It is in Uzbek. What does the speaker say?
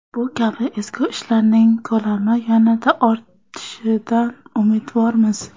Bu kabi ezgu ishlarning ko‘lami yanada ortishidan umidvormiz.